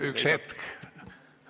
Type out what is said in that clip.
Üks hetk!